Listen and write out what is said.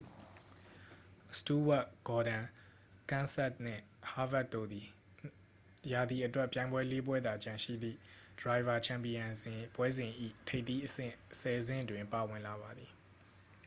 စတူးဝပ် ဂေါ်ဒွန် ကန်းစက်သ် နှင့် ဟားဗစ်ခ် တို့သည် ရာသီအတွက် ပြိုင်ပွဲလေး ပွဲသာကျန်ရှိသည့် ဒရိုင်ဗာ ချန်ပီယံပွဲစဉ် ၏ ထိပ်သီးအဆင့် ဆယ် ဆင့်တွင် ပါဝင်လာပါသည်